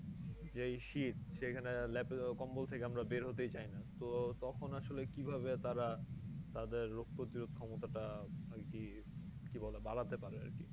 যে এই শীত সেখানে ল্যাপে কম্বল থেকে আমরা বের হতেই চাইনা তো আসলে তখন কি ভাবে তারা তাদের রোগ প্রতিরোধ ক্ষমতা টা আর কি কি বলে বাড়াতে পারে আর কি